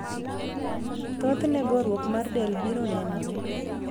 Thoth ne gorruok mar del biro nenore.